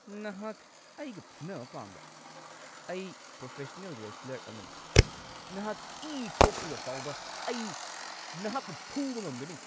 ꯅꯍꯥꯛ ꯑꯩꯒ ꯐꯨꯅꯕ ꯄꯥꯝꯕ꯭ꯔꯥ? ꯑꯩ ꯄ꯭ꯔꯣꯐꯦꯁꯅꯦꯜ ꯔꯦꯁꯠꯂꯔ ꯑꯃꯅꯤ! ꯅꯍꯥꯛ ꯏ ꯊꯣꯛꯇ꯭ꯔꯤꯕ ꯐꯥꯎꯕ ꯑꯩ ꯅꯍꯥꯛꯄꯨ ꯐꯨꯕ ꯉꯝꯒꯅꯤ꯫